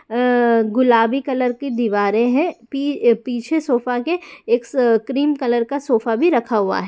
अअअ गुलाबी कलर की दीवारें है पी-पीछे सोफा के एक क्रीम कलर का सोफा भी रखा हुआ है।